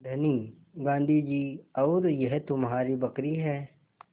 धनी गाँधी जी और यह तुम्हारी बकरी है